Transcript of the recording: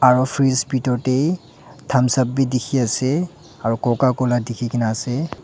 aro fridge bhitor tae thumbs up bi dikhiase aro coca cola dikhikaena ase.